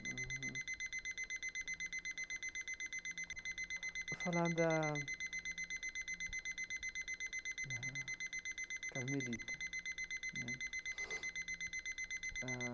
Uhum vou falar da da Carmelita né ah.